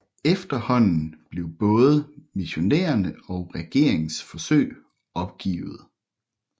Efterhånden blev både missionernes og regerings forsøg opgivet